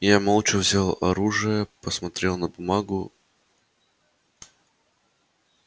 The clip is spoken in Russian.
я молча взял оружие посмотрел на бумагу